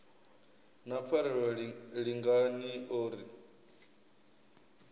na pfarelo lingani o ri